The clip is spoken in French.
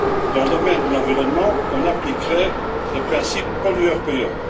Dans le domaine de l'environnement, on appliquerait le principe pollueur payeur.